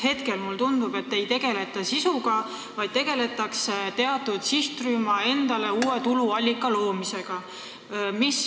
Hetkel mulle tundub, et ei tegeleta sisuga, vaid tegeletakse teatud sihtrühmale uue tuluallika loomisega.